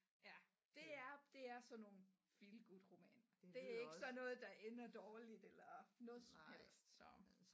Ja det er det er sådan nogle feel good roman det er ikke sådan noget der ender dårligt eller noget som helst så